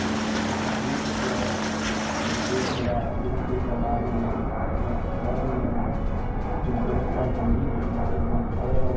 Eu eu fui para a Rússia, eu fui para apresentei trabalho na Espanha, apresentei nos Estados Unidos uma feira da Intel,